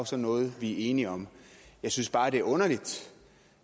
så noget vi er enige om jeg synes bare det er underligt